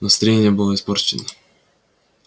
настроение было испорчено